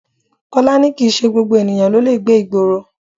Kọ́lá ni kìí ṣe gbogbo ènìyàn ló lè gbé ìgboro.